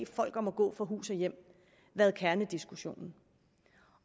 folk om at gå fra hus og hjem været kernediskussionen